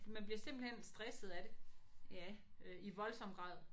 Man bliver simpelthen stresset af det øh i voldsom grad